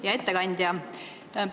Hea ettekandja!